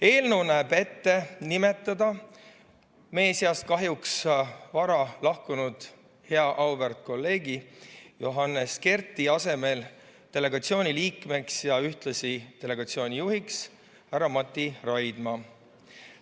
Eelnõu näeb ette nimetada meie seast kahjuks vara lahkunud hea auväärt kolleegi Johannes Kerdi asemele delegatsiooni liikmeks ja ühtlasi delegatsiooni juhiks härra Mati Raidma.